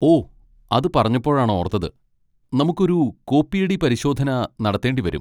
ഓ! അത് പറഞ്ഞപ്പോഴാണ് ഓർത്തത്, നമുക്ക് ഒരു കോപ്പിയടി പരിശോധന നടത്തേണ്ടി വരും.